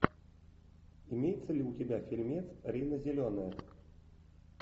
имеется ли у тебя фильмец рина зеленая